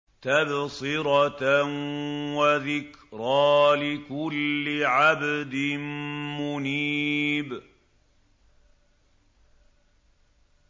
تَبْصِرَةً وَذِكْرَىٰ لِكُلِّ عَبْدٍ مُّنِيبٍ